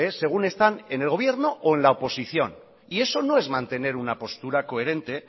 según están en el gobierno o en la oposición y eso no es mantener una postura coherente